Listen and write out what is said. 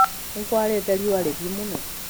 Nĩ kũarĩte rĩũa rĩhiũ mũno